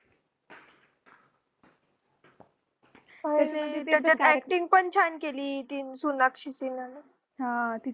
त्याचात acting पण छान केली कि sonakshi sinha ने